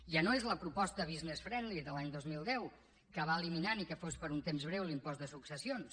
ja no és la proposta business friendly de l’any dos mil deu que va eliminar ni que fos per un temps breu l’impost de successions